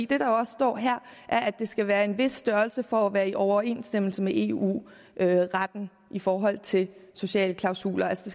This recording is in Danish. det der også står her er at det skal være af en vis størrelse for at være i overensstemmelse med eu retten i forhold til sociale klausuler altså